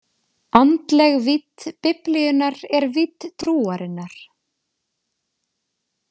Andleg vídd Biblíunnar er vídd trúarinnar.